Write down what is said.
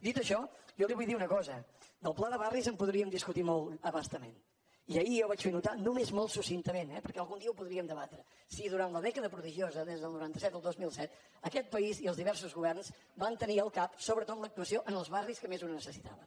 dit això jo li vull dir una cosa del pla de barris en podríem discutir molt a bastament i ahir jo vaig fer notar només molt succintament eh perquè algun dia ho podríem debatre si durant la dècada prodigiosa del noranta set al dos mil set aquest país i els diversos governs van tenir al cap sobretot l’actuació en els barris que més ho necessitaven